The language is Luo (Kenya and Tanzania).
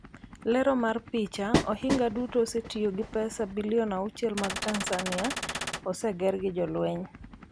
Lero mar picha, ohinga duto osetiyo gi pesa bilionde 6 mag Tanzania, oseger gi jolweny.